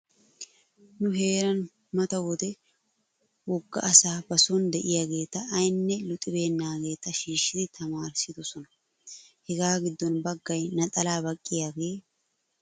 Nu heeran mata wode wogga asaa ba soon diyaageeta aynne luxibeennaageeta shiishidi tamaarissidosona. Hegaa giddon baggay naxalaa baqqiyaagee, sikkiyobaakka ehidi sikkiyaagee de'ees.